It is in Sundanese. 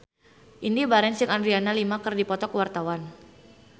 Indy Barens jeung Adriana Lima keur dipoto ku wartawan